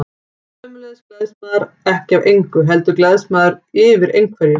Sömuleiðis gleðst maður ekki af engu, heldur gleðst maður yfir einhverju.